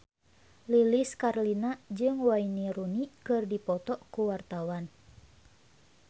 Lilis Karlina jeung Wayne Rooney keur dipoto ku wartawan